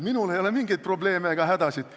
Minul ei ole mingeid probleeme ega hädasid.